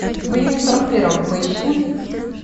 в июне сорок первого поищи